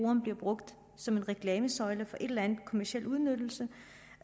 hun bliver brugt som en reklamesøjle for en eller anden kommerciel udnyttelse